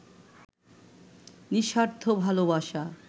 নিঃস্বার্থ ভালোবাসা